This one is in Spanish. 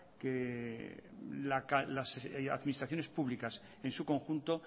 que las administraciones públicas en su conjunto